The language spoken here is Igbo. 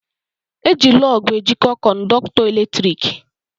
Eji lọọgụ ejiko kọndọktọ eletrik